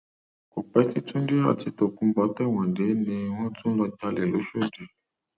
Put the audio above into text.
kò pẹ tí túnde àti tokunbo tẹwọn dé ni wọn tún lọọ jalè lọshọdì